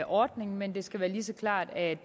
ordning men det skal være lige så klart at